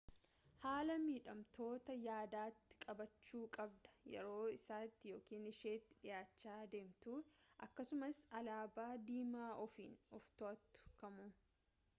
haala miidhamtootaa yaadatti qabachuu qabda yeroo isatti ykn isheetti dhi'aachaa deemtu akkasumas alaabaa diimaa ofiin of too'atu kamuu